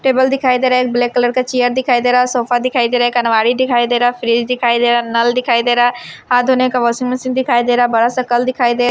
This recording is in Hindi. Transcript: टेबल दिखाई दे रहा है एक ब्लैक कलर का चेयर दिखाई दे रहा है सोफा दिखाई दे रहा है एक अनवारी दिखाई दे रहा है फ्रिज दिखाई दे रहा है नल दिखाई दे रहा है हाथ धोने का वाशिंग मशीन दिखाई दे रहा है बड़ा सा कल दिखाई दे--